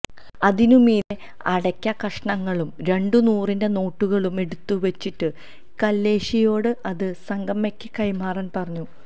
അതിനു മീതെ അടയ്ക്ക കഷ്ണങ്ങളും രണ്ടു നൂറിന്റെ നോട്ടുകളും എടുത്തു വെച്ചിട്ട് കല്ലേഷിയോട് അത് സങ്കമ്മയ്ക്ക് കൈമാറാന് പറഞ്ഞു